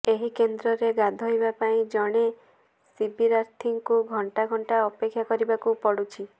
ଏହି କେନ୍ଦ୍ରରେ ଗାଧୋଇବା ପାଇଁ ଜଣେ ଶିବିରାର୍ଥୀଙ୍କୁ ଘଣ୍ଟା ଘଣ୍ଟା ଅପେକ୍ଷା କରିବାକୁ ପଡୁଛି